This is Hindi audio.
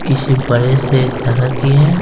किसी बड़े से जगह की है --